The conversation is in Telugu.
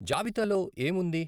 జాబితా లో ఏం వుంది?